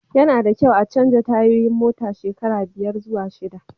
Ya na da kyau a chanja tayoyin mota shekara biyar zuwa shida